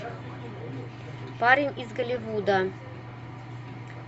парень из голливуда